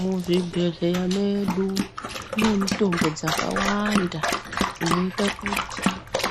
Muzvibhehleya medu mune mitombo dzakawanda dzinoita kuti